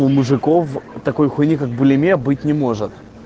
у мужиков такой хуйни как булимия быть не может